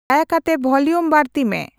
ᱫᱟᱭᱟ ᱠᱟᱛᱮ ᱵᱷᱚᱞᱤᱭᱟᱢ ᱵᱟᱹᱲᱛᱤ ᱢᱮ